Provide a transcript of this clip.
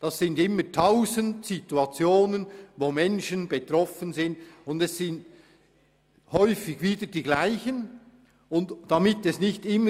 Es sind immer tausend Situationen, in denen Menschen betroffen sind, und häufig sind es dieselben Menschen.